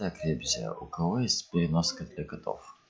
так ребзя у кого есть переноска для котов